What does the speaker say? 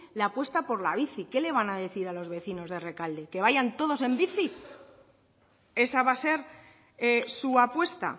la apuesta por la bici qué la van a decir a los vecinos de rekalde que vayan todos en bici esa va a ser su apuesta